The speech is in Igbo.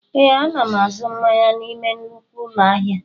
Ee, a na m azụ mmanya n'ime nnukwu ụlọ ahịa